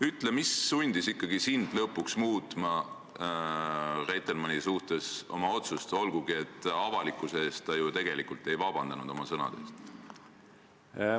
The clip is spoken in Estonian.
Ütle, mis sundis ikkagi sind lõpuks muutma oma otsust Reitelmanni suhtes, olgugi et avalikkuse ees ta ju tegelikult oma sõnade eest ei ole vabandust palunud.